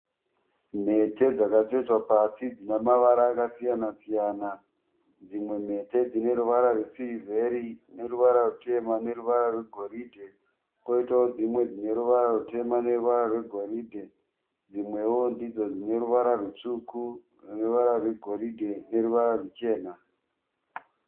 Mhete dzakatsvetwa pasi dzine mavara akasiyana siyana. Dzimwe mhete dzine ruvara rwesirivheri neruvara rutema neruvara rwegoridhe kwoitawo dzimwe dzine ruvara rutema neruvara rwegoridhe dzimwewo ndidzo dzine ruvara rutsvuku neruvara rwegoridhe neruvara ruchena.